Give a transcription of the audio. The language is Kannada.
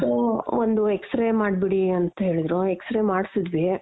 so ಒಂದು X-ray ಮಾಡ್ಬಿಡಿ ಅಂತೇಳುದ್ರು X-ray ಮಾಡ್ಸುದ್ವಿ.